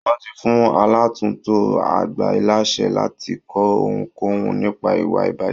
Wọ́n ti fún aláàtùntò àgbà láṣẹ láti kọ ohunkóhun, nípa ìwà ìbàjẹ́.